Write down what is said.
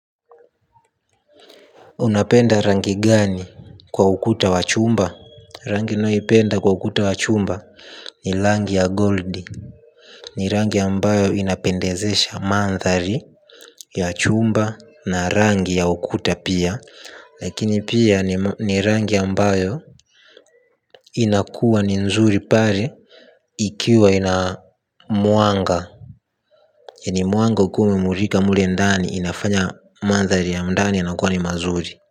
Unapenda rangi gani kwa ukuta wa chumba rangi nayoipenda kwa ukuta wa chumba ni rangi ya gold. Ni rangi ambayo inapendezesha mandhari ya chumba na rangi ya ukuta pia. Lakini pia ni rangi ambayo inakuwa ni nzuri pale ikiwa ina mwanga ili mwanga ukiwa umemulika mule ndani inaifanya mandhari ya ndani inakuwa ni mazuri.